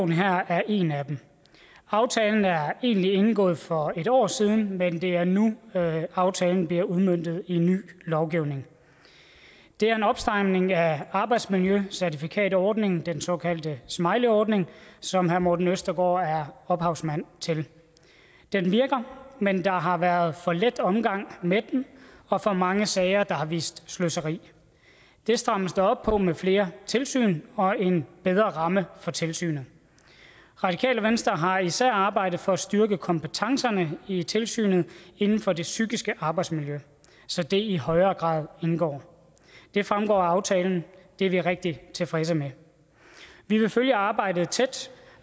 her er en af dem aftalen er egentlig indgået for et år siden men det er nu aftalen bliver udmøntet i ny lovgivning det er en opstramning af arbejdsmiljøcertifikatordningen den såkaldte smileyordning som herre morten østergaard er ophavsmand til den virker men der har været en for let omgang med den og for mange sager der har vist sløseri det strammes der op på med flere tilsyn og en bedre ramme for tilsynet radikale venstre har især arbejdet for at styrke kompetencerne i tilsynet inden for det psykiske arbejdsmiljø så det i højere grad indgår det fremgår af aftalen det er vi rigtig tilfredse med vi vil følge arbejdet tæt